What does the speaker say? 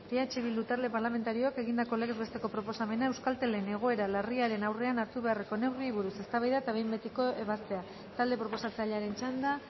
eh bildu talde parlamentarioak egindako legez besteko proposamena euskaltelen egoera larriaren aurrean hartu beharreko neurriei buruz eztabaida eta behin betiko ebazpena talde proposatzailearen txanda